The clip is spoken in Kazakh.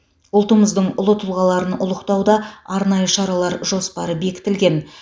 ұлтымыздың ұлы тұлғаларын ұлықтауда арнайы шаралар жоспары бекітілген